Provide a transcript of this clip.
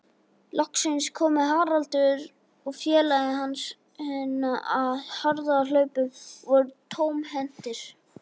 Loksins komu Haraldur og félagi hans á harðahlaupum og voru tómhentir.